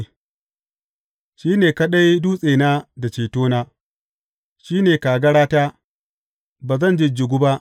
Shi ne kaɗai dutsena da cetona; shi ne kagarata, ba zan jijjigu ba.